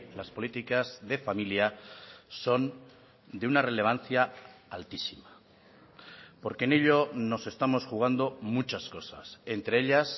las políticas de familia son de una relevancia altísima porque en ello nos estamos jugando muchas cosas entre ellas